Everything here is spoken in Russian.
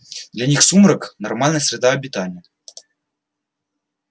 для них сумрак нормальная среда обитания